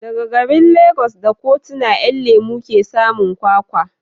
Daga garin Legas da Kutonu 'Yan lemo ke samun kwakwa